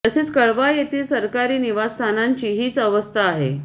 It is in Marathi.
तसेच कळवा येथील सरकारी निवासस्थानांची हीच अवस्था आहे